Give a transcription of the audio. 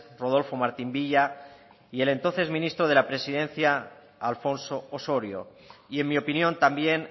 rodolfo martín villa y el entonces ministro de la presidencia alfonso osorio y en mi opinión también